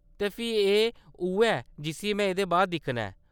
ते फ्ही एह् उʼऐ जिस्सी में एह्‌दे बाद दिक्खना ऐ।